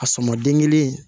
A sɔmin den kelen